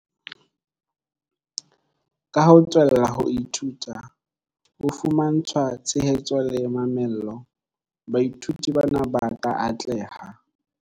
Ka ho tswella ho ithuta, ho fumantshwa tshehetso le mamello, baithuti bana ba ka atleha.